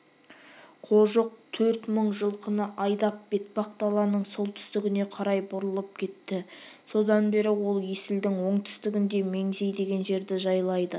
қожық төрт мың жылқыны айдап бетпақдаланың солтүстігіне қарай бұрылып кетті содан бері ол есілдің оңтүстігінде меңзей деген жерді жайлайды